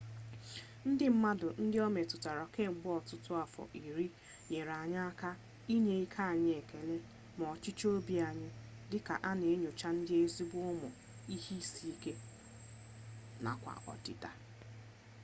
ndị mmadụ ndị o metụtara kemgbe ọtụtụ afọ iri nyere anyị aka inye ike anyị ekele na ọchịchọ obi anyị dị ka a na-enyocha n'eziokwu ụmụ ihe isi ike nakwa ọdịda